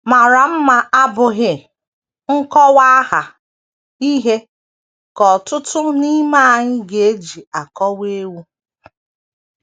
MARA mma abụghị nkọwaaha ihe ka ọtụtụ n’ime anyị ga - eji akọwa ewu.